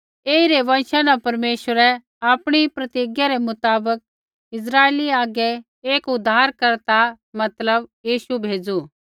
ऐईरी वँशा न परमेश्वरै आपणी प्रतिज्ञा रै मुताबक इस्राइला आगै एक उद्धारकर्ता मतलब यीशु भेज़ू